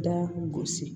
Da gosi